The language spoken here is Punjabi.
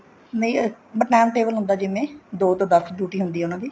ਨਹੀਂ time table ਹੁਂਦਾ ਜਿਵੇਂ ਦੋ ਤੋਂ ਦੱਸ duty ਹੁੰਦੀ ਹੈ ਉਹਨਾ ਦੀ